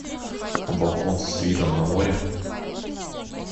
а балкон с видом на море